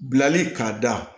Bilali k'a da